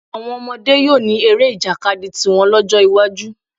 Àwọn ọmọdé yóò ní eré ìjàkadì tiwọn lọ́jọ́ iwájú